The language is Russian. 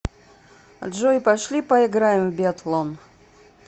джой пошли поиграем в биатлон